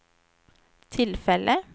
tillfälle